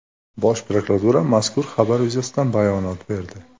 Bosh prokuratura mazkur xabar yuzasidan bayonot berdi.